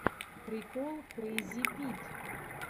прикол крэйзипит